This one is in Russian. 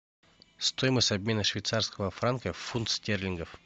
стоимость обмена швейцарского франка в фунт стерлингов